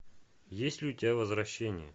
есть ли у тебя возвращение